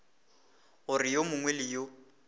gore yo mongwe le yo